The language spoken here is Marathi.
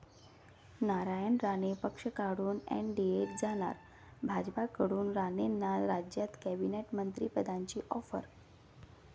नारायण राणे पक्ष काढून एनडीएत जाणार, भाजपकडून राणेंना राज्यात कॅबिनेट मंत्रिपदाची ऑफर